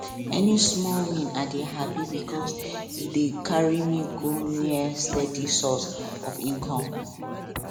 any small win i dey happy because e dey carry me go near steady source of income